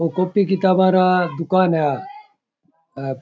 और कॉपी किताबें रा दुकान है आ --